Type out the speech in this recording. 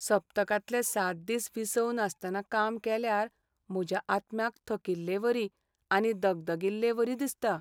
सप्तकांतले सात दीस विसव नासतना काम केल्यार म्हज्या आत्म्याक थकिल्लेवरी आनी दगदगिल्लेवरी दिसता .